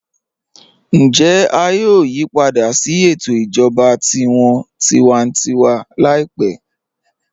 Ǹjẹ à yòò yípadà sí ètò ìjọba tí wọ́n tìwàntìwà láípẹ̀?